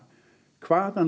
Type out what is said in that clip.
hvaðan